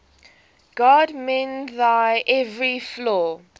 god mend thine every flaw